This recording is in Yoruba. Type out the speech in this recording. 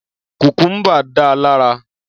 Kùkúmbà da lara.